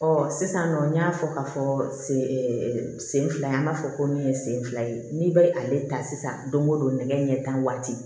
sisan nɔ n y'a fɔ ka fɔ sen sen fila an b'a fɔ ko min ye sen fila ye n'i bɛ ale ta sisan don o don nɛgɛ ɲɛ tan waati